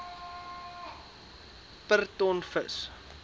per ton vis